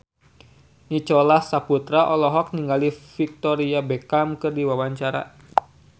Nicholas Saputra olohok ningali Victoria Beckham keur diwawancara